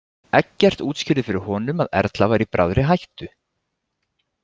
Eggert útskýrði fyrir honum að Erla væri í bráðri hættu.